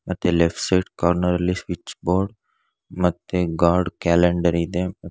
ಮತ್ತಿಲ್ಲಿ sweet corner ಲ್ಲಿ switch board ಮತ್ತೆ ಗಾರ್ಡ್ ಕ್ಯಾಲೆಂಡರ್ ಇದೆ.